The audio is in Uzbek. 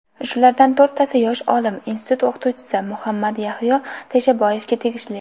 Shulardan to‘rttasi yosh olim, institut o‘qituvchisi Muhammadyahyo Teshaboyevga tegishli.